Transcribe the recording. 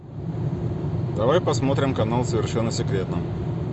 давай посмотрим канал совершенно секретно